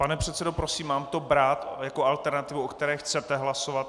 Pane předsedo, prosím, mám to brát jako alternativu, o které chcete hlasovat?